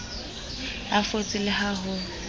a fotse le ha ho